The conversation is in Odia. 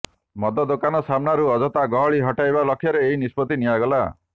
ମଦ ଦୋକାନ ସାମ୍ନାରୁ ଅଯଥା ଗହଳି ହଟାଇବା ଲକ୍ଷ୍ୟରେ ଏହି ନିଷ୍ପତ୍ତି ନିଆଗଲା